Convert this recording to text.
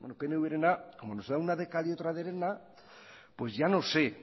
pnvrena como nos da una de cal y otra de arena pues ya no sé